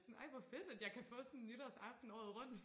sådan ej hvor fedt at jeg kan få sådan nytårsaften året rundt